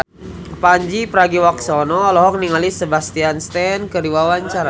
Pandji Pragiwaksono olohok ningali Sebastian Stan keur diwawancara